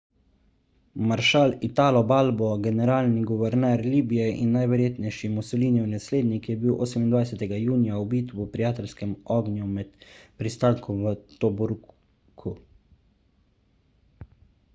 maršal italo balbo generalni guverner libije in najverjetnejši mussolinijev naslednik je bil 28 junija ubit v prijateljskem ognju med pristankom v tobruku